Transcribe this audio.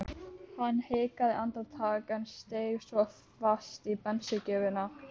Hann hikaði andartak en steig svo fast á bensíngjöfina.